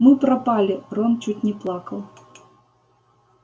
мы пропали рон чуть не плакал